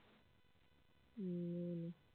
উম বলো